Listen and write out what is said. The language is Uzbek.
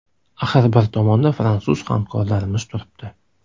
Axir bir tomonda fransuz hamkorlarimiz turibdi.